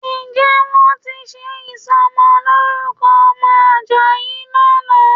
Ǹjẹ́ wọ́n ti ṣe ìsọmọlórúkọ ọmọ Àjàyí lánàá?